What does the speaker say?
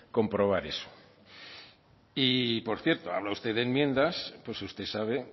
comprobar eso y por cierto habla usted de enmiendas pues usted sabe